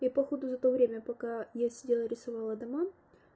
я походу за то время пока я сидела рисовала дома